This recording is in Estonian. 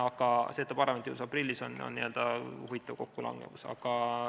Aga see, et ta parlamendis alles aprillis on, on huvitav kokkulangevus.